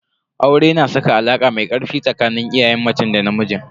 Aure na saka alaka mai ƙarfi tsakanin iyayen macen da namijin.